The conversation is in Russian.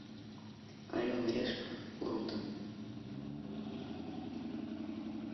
орел и решка лондон